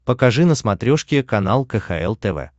покажи на смотрешке канал кхл тв